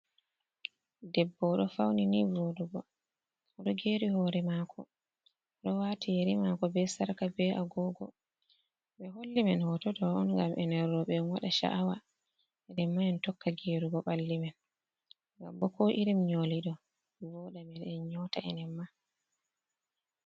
Debbo oɗo fauni nii voɗugo. Oɗo geeri hore maako, oɗo waati yeri maako be sarka be agogo. Ɓe holli men hoto ɗo on, ngam enen roɓe en waɗa sha’awa, enen ma en tokka geerugo ɓalli men. Ngam bo, ko irin nƴoli ɗo voɗa men en nƴoota enen ma.